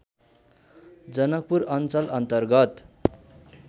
जनकपुर अञ्चल अन्तर्गत